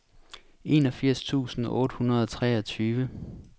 enogfirs tusind otte hundrede og treogtyve